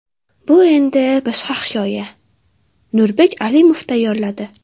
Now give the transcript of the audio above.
Bu endi boshqa hikoya... Nurbek Alimov tayyorladi.